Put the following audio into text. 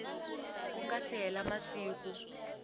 ku nga si hela masiku